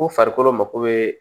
Ko farikolo mako bɛ